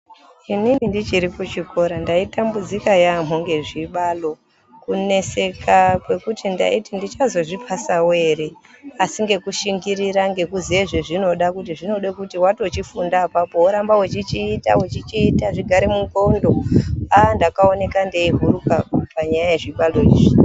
Inini ndichiri kuchikora ndaitambudzika yaamho ngezvibalo kuneseka kwekuti ndaiti ndichazozvipasawo ere. asi ngekushingirira ngekuziye zvezvinoda kuti zvinode kuti watochifunda apapo woramba wechichiita wechichiita zvigare munxondo. Aaa ndakaona ndeihuruka panyaya yazvibalo izvo.